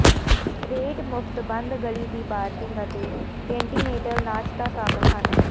rate ਮੁਫ਼ਤ ਬੰਦ ਗਲੀ ਦੀ ਪਾਰਕਿੰਗ ਅਤੇ ਕੰਟੀਨੇਂਟਲ ਨਾਸ਼ਤਾ ਸ਼ਾਮਲ ਹਨ